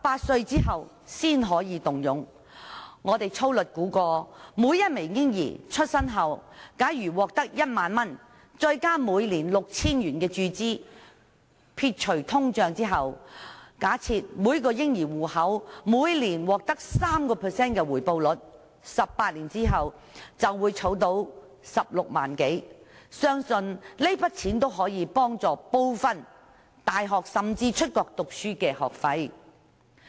據我們粗略估算，按每名嬰兒出生後獲得1萬元注資，再加上每年注資 6,000 元，假設每個嬰兒戶口每年獲得 3% 的回報率計算，撇除通脹 ，18 年後便儲得16多萬元，相信這筆資金可以支付他們入讀大學甚至出國留學的部分學費。